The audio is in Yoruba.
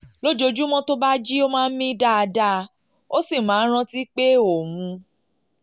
lójoojúmọ́ tó bá jí ó máa ń mí dáadáa ó sì máa ń rántí pé òun